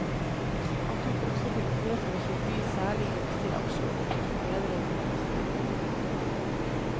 Han tok også til orde for å forby særlig gunstige aksjeordninger for ledere i næringslivet.